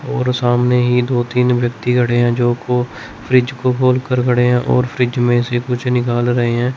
और सामने ही दो तीन व्यक्ति खड़े हैं जो को फ्रिज को खोलकर खड़े हैं और फ्रिज में से कुछ निकाल रहे हैं।